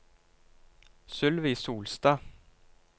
Sylvi Solstad